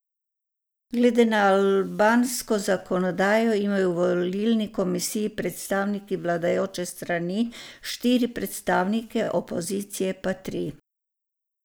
Glede na albansko zakonodajo imajo v volilni komisiji predstavniki vladajoče strani štiri predstavnike, opozicije pa tri.